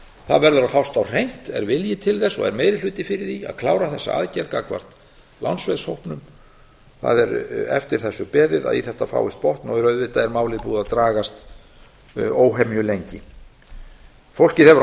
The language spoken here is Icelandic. það verður að fást á hreint er vilji til þess er meiri hluti fyrir því að klára þessa aðgerð gagnvart lánsveðshópnum það er eftir þessu beðið að í þetta fáist botn auðvitað er málið búið að dragast óhemju lengi fólkið hefur á